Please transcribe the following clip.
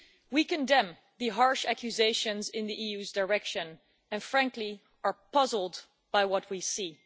We condemn the harsh accusations in the EU's direction and frankly are puzzled by what we see.